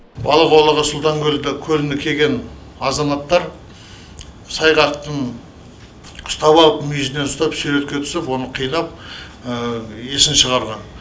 балық аулауға сұлтан көліне келген азаматтар сайғақтың ұстап алып мүйізінен ұстап суретке түсіп оны қинап есін шығарған